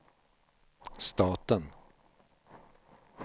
staten